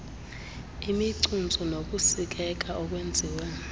imicuntsu nokusikeka okwenziwe